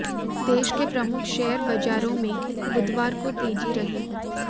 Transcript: देश के प्रमुख शेयर बाजारों में बुधवार को तेजी रही